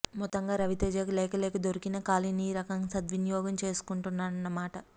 మొత్తంగా రవితేజకి లేక లేక దొరికిన ఖాళీని ఈ రకంగా సద్వినియోగం చేసుకొంటున్నాటన్నమాట